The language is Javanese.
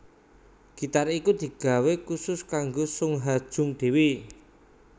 Gitar iku digawé kusus kanggo Sung Ha Jung dhéwé